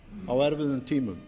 á erfiðum tímum